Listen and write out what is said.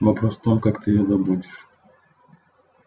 вопрос в том как ты её добудешь